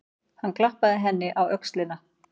Hann klappaði henni á öxlina.